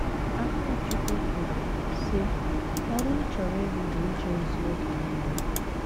Akachukwu kwuru, sị, “ Ọrụ m chọrọ ịrụ bụ ije ozi oge nile.